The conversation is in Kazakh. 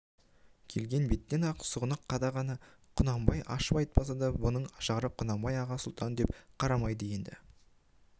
келген беттен-ақ сұғын қадағаны құнанбай ашып айтпаса да бұның ажары құнанбайды аға сұлтан деп қарамайды енді